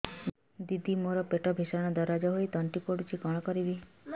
ଦିଦି ମୋର ପେଟ ଭୀଷଣ ଦରଜ ହୋଇ ତଣ୍ଟି ପୋଡୁଛି କଣ କରିବି